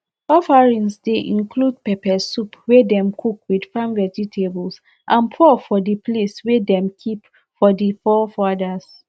offerings dey include pepper soup wey dem cook with farm vegetables and pour for di place way dem keep for di forefathers